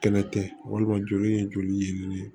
Kɛlɛ tɛ walima joli ye joli ye nin ye